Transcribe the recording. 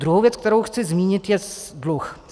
Druhá věc, kterou chci zmínit, je dluh.